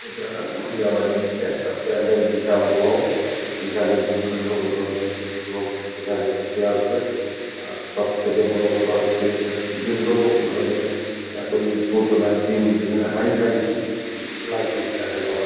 এটা বিয়া বাড়ির একটা প্যান্ডেল বিশাল বড় যেখানে ডু বিভিন্ন ধরনে লোক এখানে খেতে আসবে আর সব থেকে বড় কথা হচ্ছে এখানে বিভিন্ন ধরনের এত জিনিসপত্র লাইটিং যেখানে হাই ফাই লাইটিং যাকে বলা হয় ।